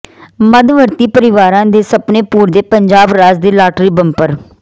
ਮੱਧਵਰਗੀ ਪਰਿਵਾਰਾਂ ਦੇ ਸੁਪਨੇ ਪੂਰਦੇ ਪੰਜਾਬ ਰਾਜ ਦੇ ਲਾਟਰੀ ਬੰਪਰ